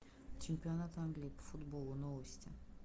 чемпионат англии по футболу новости